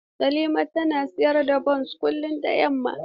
Salima tana siyan bons kullum da yamma.